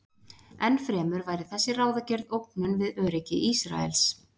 Enn fremur væri þessi ráðagerð ógnun við öryggi Ísraels.